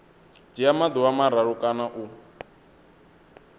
dzhia maḓuvha mararu kana u